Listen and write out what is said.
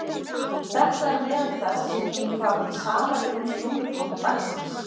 Þetta er meðal þess sem kemur fram í safaríkum slúðurpakka dagsins.